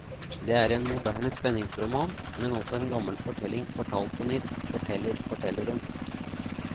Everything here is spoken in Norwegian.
Det er en moderne spenningsroman, men også en gammel fortelling fortalt på nytt, forteller fortelleren.